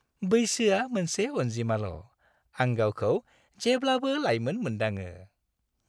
बैसोआ मोनसे अन्जिमाल'। आं गावखौ जेब्लाबो लाइमोन मोनदाङो।